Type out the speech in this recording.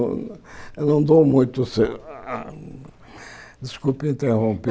Eu não dou muito se ah... Desculpe interromper.